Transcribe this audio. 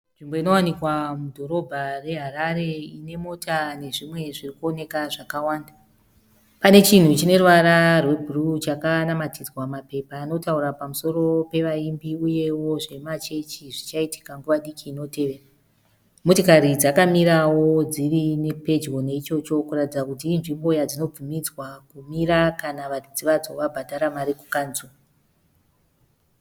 Nzvimbo inowanikwa mudhorobha re Harare ine mota nezvimwe zvirikuoneka zvakawanda. Panechinhu chineruvara rwebhuruu chakanamatidzwa mapepa anotaura pamusoro pevaimbi uyewo zvema chechi zvichaitika nguva diki inotevera. Motokari dzakamirawo dziri pedyo naichocho kuratidza kuti inzvimbo yadzinobvumidzwa kumira kana varidzi vadzo vabhadhara mari kukanzuru.